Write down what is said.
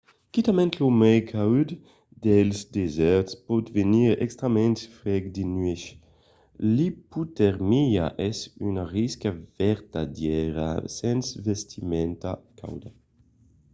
quitament lo mai caud dels desèrts pòt venir extrèmament freg de nuèch. l'ipotermia es una risca vertadièra sens vestimenta cauda